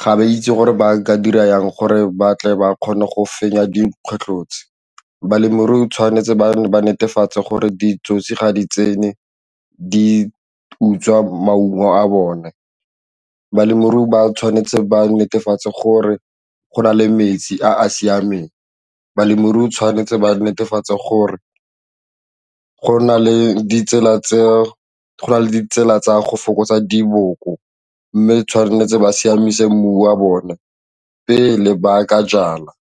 ga ba itse gore ba ka dira jang gore batle ba kgone go fenya dikgwetlho tse, balemirui ba tshwanetse ba netefatse gore ditsotsi ga di tsene di utswa maungo a bone, balemirui ba tshwanetse ba netefatse gore go na le metsi a a siameng, balemirui ba tshwanetse ba netefatse gore go na le ditsela tsa go fokotsa diboko mme tshwanetse ba siamisa mmu wa bone pele ba ka jala.